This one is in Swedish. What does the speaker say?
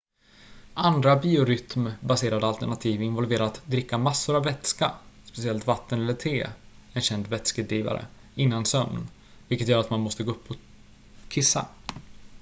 andra biorytm-baserade alternativ involverar att dricka massor av vätska speciellt vatten eller te en känd vätskedrivare innan sömn vilket gör att man måste gå upp och kissa